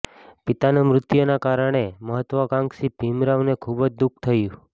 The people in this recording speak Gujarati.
પિતાનાં મૃત્યુનાં કારણે મહત્વાકાંક્ષી ભીમરાવને ખૂબ જ દુઃખ થયું